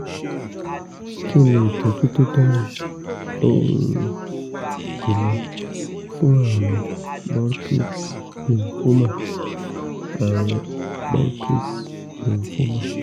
kí ni ìtọ́jú tó dára um jùlọ fún àrùn burkitt's lymphoma àrùn burkitt's lymphoma